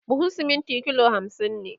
buhun siminti kilo hamsin ne